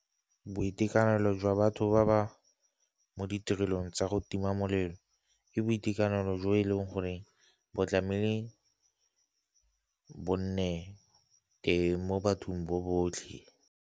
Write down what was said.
Boitekanelo jwa batho ba ba mo ditirelong tsa go tima molelo, ke boitekanelo jo e leng gore bo tlamehile bo nne mo bathong bo botlhe.